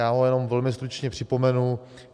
Já ho jenom velmi stručně připomenu.